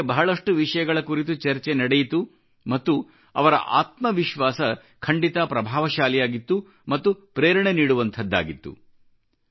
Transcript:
ಅವರೊಂದಿಗೆ ಬಹಳಷ್ಟು ವಿಷಯಗಳ ಕುರಿತು ಚರ್ಚೆ ನಡೆಯಿತು ಮತ್ತು ಅವರ ಆತ್ಮವಿಶ್ವಾಸ ಖಂಡಿತ ಪ್ರಭಾವಶಾಲಿಯಾಗಿತ್ತು ಮತ್ತು ಪ್ರೇರಣೆ ನೀಡುವಂಥದ್ದಾಗಿತ್ತು